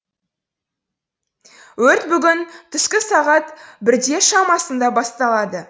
өрт бүгін түскі сағат бірде шамасында басталды